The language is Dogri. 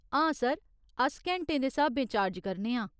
हां सर, अस घैंटें दे स्हाबें चार्ज करने आं।